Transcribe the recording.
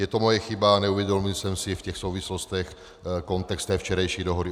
Je to moje chyba, neuvědomil jsem si v těch souvislostech kontext té včerejší dohody.